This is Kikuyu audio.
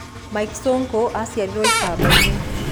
Mike Sonko aciarĩirwo ikamba-inĩ